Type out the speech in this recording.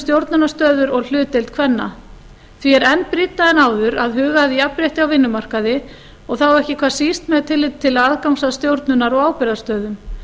stjórnunarstöður og hlutdeild kvenna þar því er enn brýnna en áður að huga að jafnrétti á vinnumarkaði og þá ekki hvað síst með tilliti til aðgangs að stjórnunar og ábyrgðarstöðum